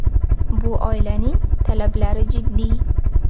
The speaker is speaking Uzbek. Bu oilaning talablari jiddiy.